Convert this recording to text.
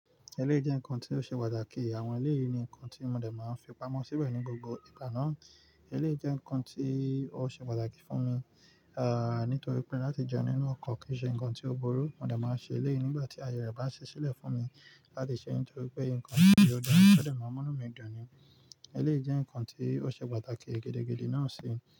Eleyi jẹ́ nǹkan tí ó ṣe pàtàkì. Àwọn eleyìí ni nkan tí mo dé máa ń fipamọ́ síbẹ̀ ní gbogbo ìgbà náà. Eleyi jẹ́ nǹkan tí ó ṣe pàtàkì fún mi, ah, nítorí pé láti jẹun nínú ọkọ̀ kì í ṣe nǹkan tí ó burú. Mo dé máa ń ṣe eléyí nígbà tí aye rẹ̀ bá si sílẹ̀ fún mi láti ṣe nítorí pé nǹkan tí ó dára, ó dé máa ń mú inú mi dun ni. Eleyi jẹ́ nǹkan tí ó ṣe pàtàkì gidi naa sí.